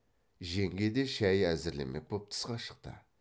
жеңге де шай әзірлемек боп тысқа шықты